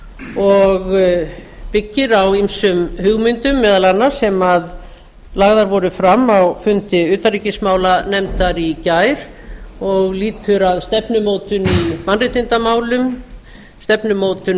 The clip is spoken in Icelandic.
og byggir á ýmsum hugmyndum meðal annars sem lagðar voru fram á fundi utanríkismálanefndar í gær og lýtur að stefnumótun í mannréttindamálum stefnumótun